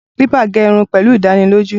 Clipper gé irun pẹ̀lú ìdánilójú.